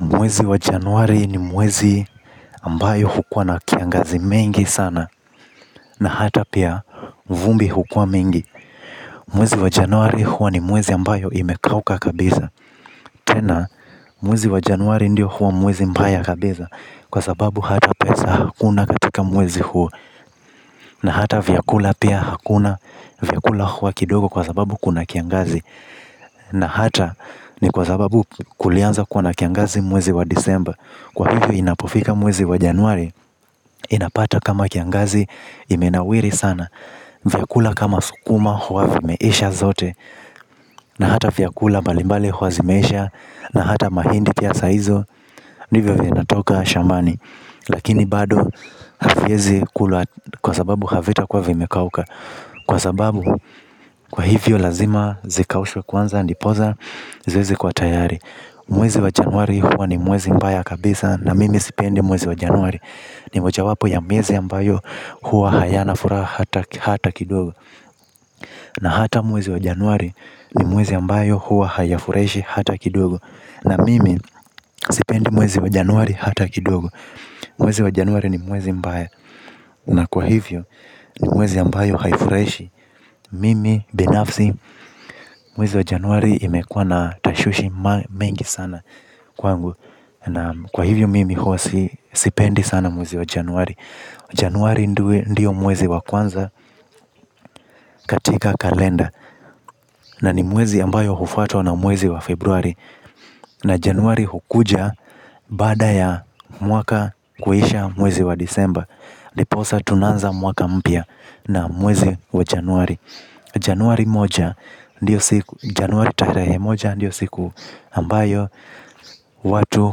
Mwezi wa januari ni mwezi ambayo hukua na kiangazi mengi sana na hata pia vumbi hukua mengi. Mwezi wa januari hua ni mwezi ambayo imekauka kabiza. Tena, mwezi wa januari ndio hua mwezi mbaya kabiza kwa sababu hata pesa hakuna katika mwezi huo na hata vyakula pia hakuna vyakula hua kidogo kwa sababu kuna kiangazi. Na hata ni kwa sababu kulianza kuwa na kiangazi mwezi wa disemba. Kwa hivyo inapofika mwezi wa januari, inapata kama kiangazi imenawiri sana. Vyakula kama sukuma huwa vimeisha zote. Na hata vyakula mbalimbali huwa zimeisha. Na hata mahindi pia sa hizo ndivyo vinatoka shambani. Lakini bado haviezi kulwa kwa sababu havita kuwa vimekauka. Kwa sababu kwa hivyo lazima zikaushwe kwanza ndipoza ziweze kuwa tayari. Mwezi wa januari huwa ni mwezi mbaya kabisa na mimi sipendi mwezi wa januari. Ni mocha wapo ya muwezi ambayo huwa hayana furaha hata kidogo. Na hata mwezi wa januari ni mwezi ambayo huwa hayafureshi hata kidogo. Na mimi sipendi mwezi wa januari hata kidogo. Mwezi wa januari ni mwezi mbaya. Na kwa hivyo ni mwezi ambayo haifuraishi. Mimi binafsi mwezi wa januari imekua na tashwishi mengi sana kwangu. Na kwa hivyo mimi hua sipendi sana mwezi wa januari Januari ndio mwezi wa kwanza katika kalenda ni mwezi ambayo hufuatwa na mwezi wa februari. Na januari hukuja baada ya mwaka kuhisha mwezi wa disemba ndiposa tunaanza mwaka mpya na mwezi wa januari januari mmoja januari tarehe moja ndiyo siku ambaye watu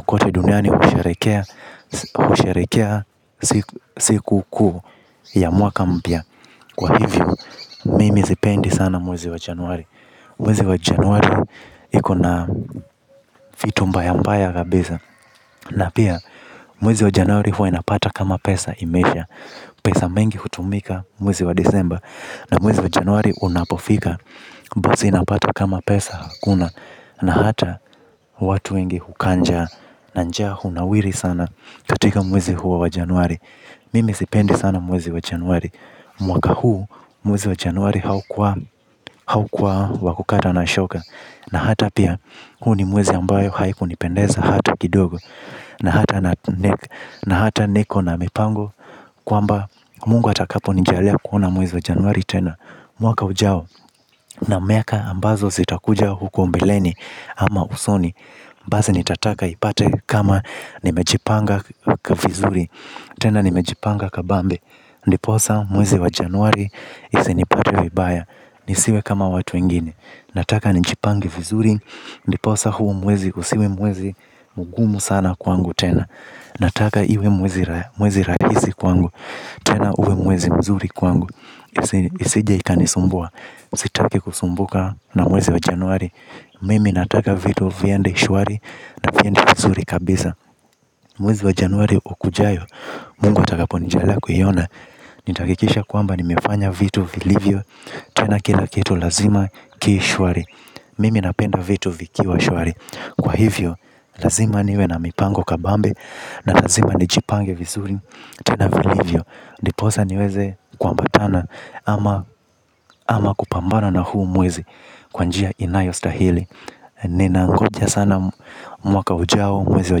kote duniani usharekea. Usharekea siku kuu ya mwaka mpya. Kwa hivyo mimi sipendi sana mwezi wa januari. Mwezi wa januari iko na fitu mbaya mpaya kabisa. Na pia mwezi wa januari huwa inapata kama pesa imeisha. Pesa mingi hutumika mwezi wa december. Na mwezi wa januari unapofika basi inapata kama pesa hakuna. Na hata watu wengi hukaa njaa na nja hunawiri sana katika mwezi huwa wajanwari. Mimi sipendi sana mwezi wa januari. Mwaka huu mwezi wa januari haukua wakukata na shoka. Na hata pia huu ni mwezi ambayo haiku nipendeza hata kidogo. Na hata niko na mipango kwamba mungu atakapo nijalia kuona muwezi wajanwari tena. Mwaka ujao na miaka ambazo zitakuja huko mbeleni. Ama usoni. Basi nitataka ipate kama nimejipanga kwa vizuri. Tena nimejipanga kabambe. Ndiposa mwezi wa januari. Isinipate vibaya. Nisiwe kama watu wengine. Ndiposa huo mwezi usiwe mwezi mugumu sana kwangu tena. Ndiposa huo mwezi kwa vizuri kwangu. Tena uwe mwezi mzuri kwangu. Isije ika nisumbua. Sitaki kusumbuka na mwezi wa januari. Mimi nataka vitu viende shuari na viende vizuri kabisa mwezi wa januari ukujayo mungu atakaponijaliya kuiona. Nitaakikisha kwamba nimefanya vitu vilivyo. Tena kila kitu lazima kishuari. Mimi napenda vitu vikiwa shuari. Kwa hivyo lazima niwe na mipango kabambe. Na lazima ni jipange vizuri. Tena vilivyo ndiposa niweze kuambatana. Ama kupambana na huu mwezi. Kwa njia inayo stahili nina ngoja sana mwaka ujao mwezi wa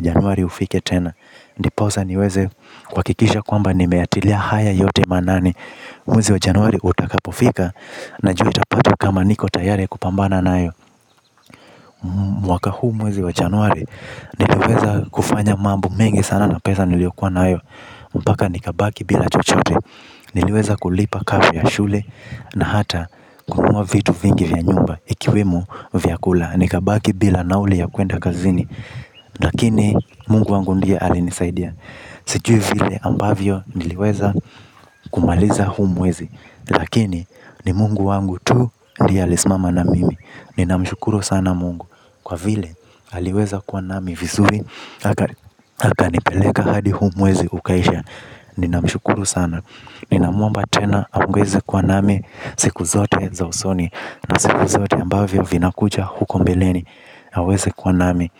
januari ufike tena. Ndiposa niweze kuakikisha kwamba nimeyatilia haya yote maanani mwezi wa januari itakapofika najua itapata kwamba niko tayari kukabiliana nayo. Mwaka huu mwezi wa januari niliweza kufanya mambo mengi sana na pesa niliokua nayo. Mpaka nikabaki bila chochote niliweza kulipa karo ya shule. Na hata kununua vitu vingi vya nyumba ikiwemo vyakula. Nikabaki bila nauli ya kuenda kazini. Lakini mungu wangu ndie alinisaidia. Sijui vile ambavyo niliweza kumaliza huu mwezi. Lakini ni mungu wangu tu ndiye alismama na mimi. Ninamshukuru sana mungu. Kwa vile aliweza kwa nami vizuri. Hakanipeleka hadi huu mwezi ukaisha. Ninamshukuru sana. Ninamwomba tena amwezi kwa nami. Siku zote za usoni. Na siku zote ambavyo vinakuja huko mbeleni aweze kwa nami.